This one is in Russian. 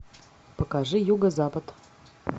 покажи юго запад